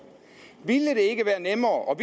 ville det ikke være nemmere og